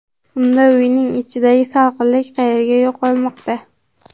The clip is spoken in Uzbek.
Unda uyning ichidagi salqinlik qayerga yo‘qolmoqda?